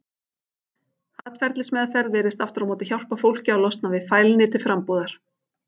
Atferlismeðferð virðist aftur á móti hjálpa fólki að losna við fælni til frambúðar.